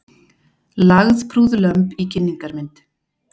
Lagðprúð lömb í kynningarmynd